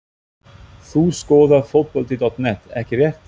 Þú skoðar Fótbolti.net ekki rétt?